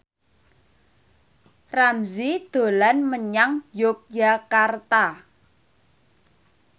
Ramzy dolan menyang Yogyakarta